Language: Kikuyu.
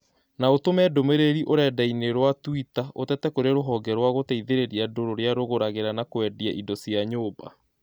No ũtũme ndũmĩrĩri ũrenda-inī rũa tũita ũtete kũrĩ rũhonge rwa gũteithĩrĩria andũ rũrĩa rũgũragĩra na kũendia indo cia nyũmba